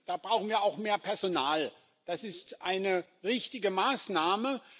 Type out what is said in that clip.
Da brauchen wir auch mehr Personal. Das ist eine richtige Maßnahme.